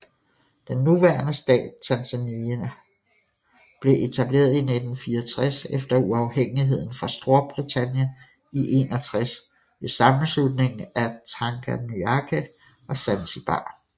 Den nuværende stat Tanzania blev etableret i 1964 efter uafhængigheden fra Storbritannien i 1961 ved sammenslutningen af Tanganyika og Zanzibar